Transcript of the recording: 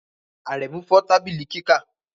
Aremu fọ tabili kika